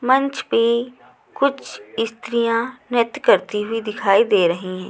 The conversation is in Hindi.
मंच पे कुछ स्त्रियाँ नृत्य करती हुई दिखाई दे रहीं--